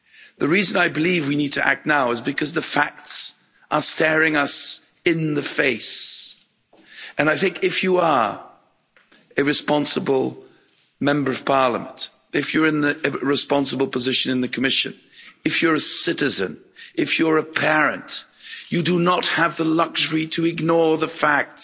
The reason I believe we need to act now is because the facts are staring us in the face, and I think if you are a responsible Member of Parliament, if you're in the responsible position in the Commission, if you're a citizen, if you're a parent, you do not have the luxury to ignore the facts.